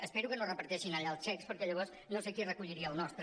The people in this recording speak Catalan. espero que no reparteixin allà els xecs perquè llavors no sé qui recolliria el nostre